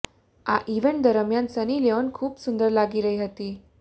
આ ઈવેન્ટ દરમિયાન Sunny Leone ખુબ સુંદર લાગી રહી હતી